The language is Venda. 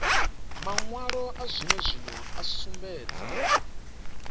mawalo a zwenezwino a sumbedza